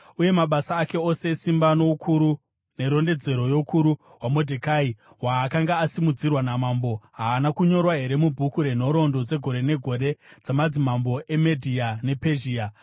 Uye mabasa ake ose esimba noukuru nerondedzero youkuru hwaModhekai hwaakanga asimudzirwa namambo, haana kunyorwa here mubhuku renhoroondo dzegore negore dzamadzimambo eMedhia nePezhia?